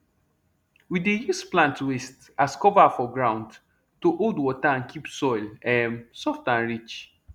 we dey use plant waste as cover for ground to hold water and keep soil um soft and rich